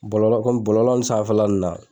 Bɔlɔlɔ kɔmi bɔlɔlɔ nun sanfɛla nun.